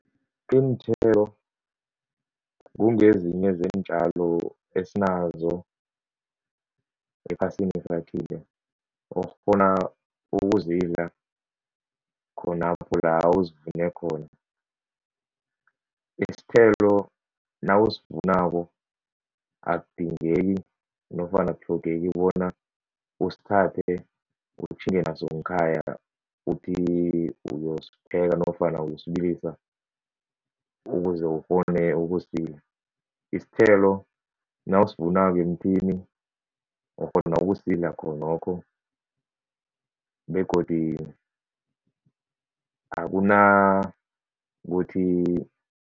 Iinthelo kungezinye zeentjalo esinazo ephasini okghona ukuzidla khonapho la uzivune khona. Isithelo nawusivunako akudingeki nofana akutlhogeki bona usithathe utjhinge naso ngekhaya uthi uyosipheka nofana uyosibilisa ukuze ukghone ukusidla, isithelo nawusivunako emthini, ukghona ukusidla khonokho begodi akunakuthi